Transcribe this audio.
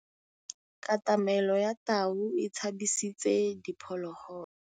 Katamêlô ya tau e tshabisitse diphôlôgôlô.